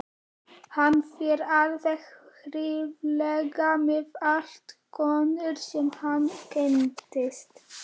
Hann fer alveg hræðilega með allar konur sem hann kynnist.